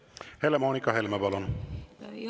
Helle-Moonika Helme, palun!